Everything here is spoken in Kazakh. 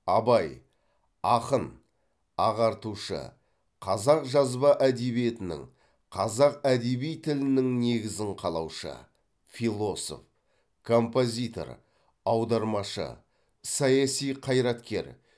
абай ақын ағартушы қазақ жазба әдебиетінің қазақ әдеби тілінің негізін қалаушы философ композитор аудармашы саяси қайраткер